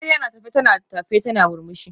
Amarya na tafe tana tafe tana murmushi